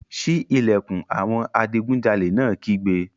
Sí ìlẹ̀kùn! Àwọn adigunjalè náà kígbe.